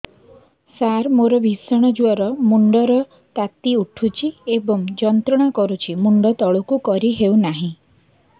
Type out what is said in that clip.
ସାର ମୋର ଭୀଷଣ ଜ୍ଵର ମୁଣ୍ଡ ର ତାତି ଉଠୁଛି ଏବଂ ଯନ୍ତ୍ରଣା କରୁଛି ମୁଣ୍ଡ ତଳକୁ କରି ହେଉନାହିଁ